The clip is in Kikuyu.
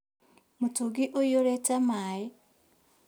Mũtũngi ũihũrĩte maĩ